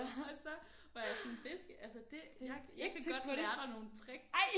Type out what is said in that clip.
Og så var jeg sådan det altså det jeg kan godt lære dig nogle tricks